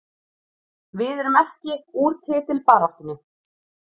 Við erum ekki úr titilbaráttunni